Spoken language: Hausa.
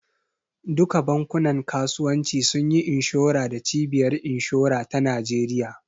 Duka bankunan kasuwanci sunyi inshora da cibiyar inshora ta Nijeriya